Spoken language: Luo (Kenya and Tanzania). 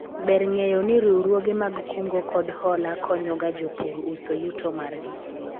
Ber ng'eyo ni riwruoge mag kungo kod hola konyo ga jopur uso yuto margi